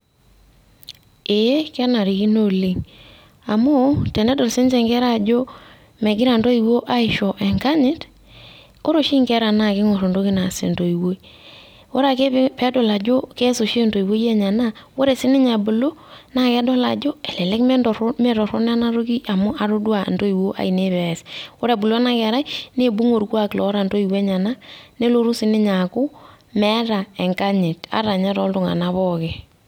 Ee kenarikino oleng' amu tenedol sininche inkera aajo megira intoiwuo aisho enganyit ore oshi inkera naa keing'orr entoki naas entoiwuoi ore oshi peedol ajo keas entoiwuoi enye ena, ore sininye pee ebulu nedol sininye ajo elelek eme torrronok ena toki amu amu atodua intoiwuo aanei pee eyas ore ebulu ena kerai neibung'i orkuak oota intoiwuo enyenak nelotu sininye aaku meeta enganyit ata enye tooltung'anak pooki.